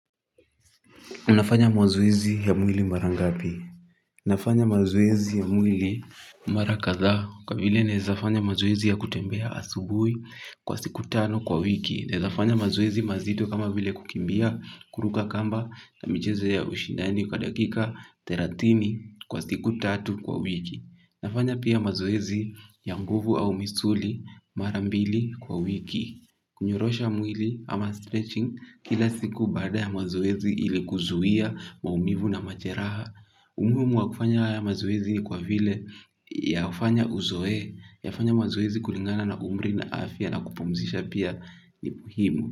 Unafanya mazoezi ya mwili mara ngapi? Nafanya mazoezi ya mwili. Mara kadhaa kwa vile naeza fanya mazoezi ya kutembea asubuhi kwa siku tano kwa wiki. Naeza fanya mazoezi mazito kama vile kukimbia kuruka kamba na michezo ya ushindani kwa dakika therathini kwa siku tatu kwa wiki. Nafanya pia mazoezi ya nguvu au misuli mara mbili kwa wiki. Kunyorosha mwili ama stretching kila siku baada ya mazoezi ili kuzuia maumivu na majeraha. Umuhimu wa kufanya haya mazoezi ni kwa vile yafanya uzoee, yafanye mazoezi kulingana na umri na afya na kupumzisha pia ni muhimu.